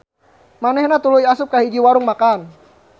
Manehna tuluy asup ka hiji warung makan.